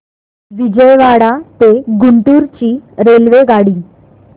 विजयवाडा ते गुंटूर ची रेल्वेगाडी